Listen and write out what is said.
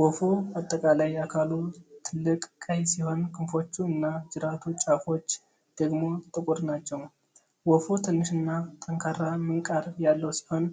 ወፉ አጠቃላይ አካሉ ጥልቅ ቀይ ሲሆን ክንፎቹ እና ጅራቱ ጫፎች ደግሞ ጥቁር ናቸው። ወፉ ትንሽና ጠንካራ ምንቃር ያለው ሲሆን፣